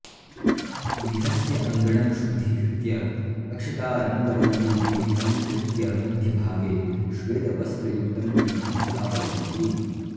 गृहस्य अङ्गणं शुद्धीकृत्य अक्षतारङ्गवल्लीभिः अलङ्कृत्य मध्यभागे श्वेतवस्त्रयुक्तं पीठं स्थापयन्ति